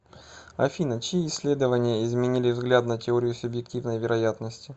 афина чьи исследования изменили взгляд на теорию субъективной вероятности